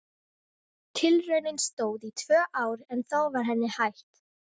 Tilraunin stóð í tvö ár en þá var henni hætt.